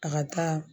A ka taa